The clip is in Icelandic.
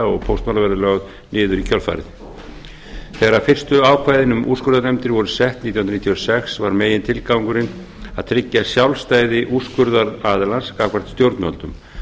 og póstmála verði lögð niður í kjölfarið þegar fyrstu ákvæðin um úrskurðarnefndina voru sett nítján hundruð níutíu og sex var megintilgangurinn að tryggja sjálfstæði úrskurðaraðilans gagnvart stjórnvöldum